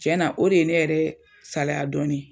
Cɛ na o de ye ne yɛrɛ salaya dɔɔni.